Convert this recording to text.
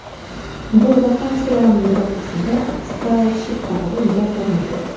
Bu vakansiyalarning birortasida Starship haqida gap bormaydi.